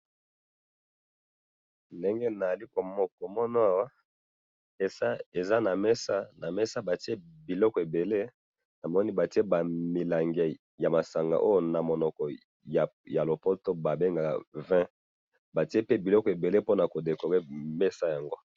Ndenge nazali komona awa, eza na mesa, na mesa ba tie biliko ebele, namoni ba tie ba milangi ya masanga oyo na monoko ya lopoto ba bengaka vin, ba tie pe biloko ebele pona ko decorer mesa yango